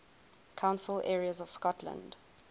council areas of scotland